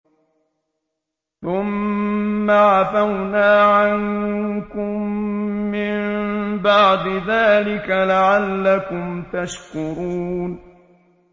ثُمَّ عَفَوْنَا عَنكُم مِّن بَعْدِ ذَٰلِكَ لَعَلَّكُمْ تَشْكُرُونَ